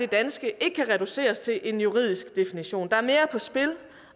danske ikke kan reduceres til en juridisk definition der er mere på spil